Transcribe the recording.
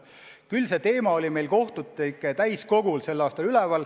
Aga see teema oli kohtunike täiskogul sel aastal üleval.